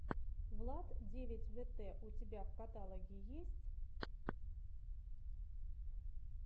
влад девять вэтэ у тебя в каталоге есть